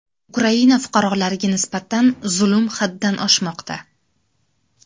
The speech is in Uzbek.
Ukraina fuqarolariga nisbatan zulm haddan oshmoqda.